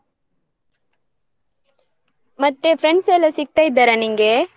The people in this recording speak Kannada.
ಮತ್ತೆ friends ಎಲ್ಲ ಸಿಗ್ತಾ ಇದ್ದಾರಾ ನಿಂಗೆ?